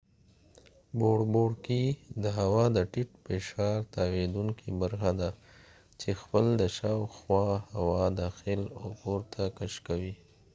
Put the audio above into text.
بوړبوړکۍ د هوا د ټیټ فشار تاویدونکې برخه ده چې خپل دشاوخوا هوا داخل او پورته کش کوي